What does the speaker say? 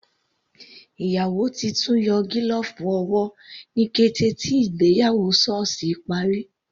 Ìyàwó titun yọ gílọ̀ọ̀fù owó ní kété tí ìgbéyàwó sọ́ọ̀sì parí.